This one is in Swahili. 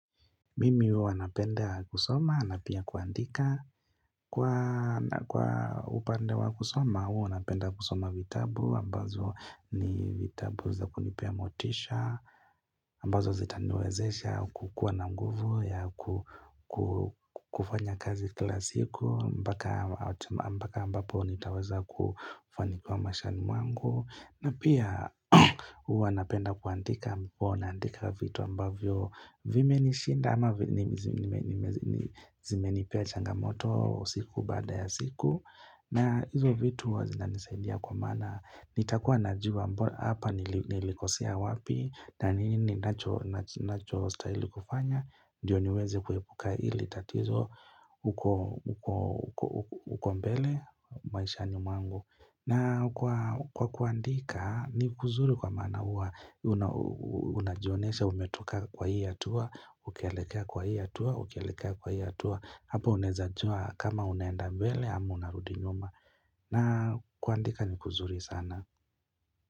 Mimi huwa napenda kusoma na pia kuandika Kwa upande wa kusoma huwanapenda kusoma vitabu ambazo ni vitabu za kunipea motisha ambazo zitaniwezesha kukuwa na nguvu ya kufanya kazi kilasiku mpaka mpaka ambapo nitaweza kufanikiwa maishani mwangu na pia huwa napenda kuandika mpo nandika vitu ambavyo vime nishinda ama zime nipea changamoto siku baada ya siku na hizo vitu huwazina nisaidia kwa maana nitakuwa na jua mbona hapa nilikosea wapi na nini nacho stahili kufanya Ndiyo niweze kuepuka ili tatizo uko uko mbele maishani mwangu na kwa kuandika ni kuzuri kwa maana huwa Unajionesha umetoka kwa hii hatua Ukielekea kwa hii hatua Ukielekea kwa hii hatua Hapo unawezajua kama unaenda mbele ama unarudi nyuma na kuandika ni kuzuri sana.